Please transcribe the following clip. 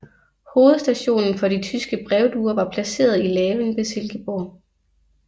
Hovedstationen for de tyske brevduer var placeret i Laven ved Silkeborg